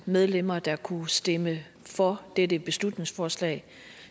medlemmer der kunne stemme for dette beslutningsforslag